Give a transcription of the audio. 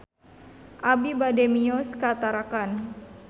Abi bade mios ka Tarakan